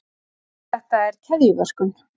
þetta er keðjuverkun